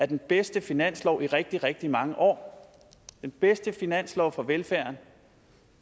den bedste finanslov i rigtig rigtig mange år den bedste finanslov for velfærden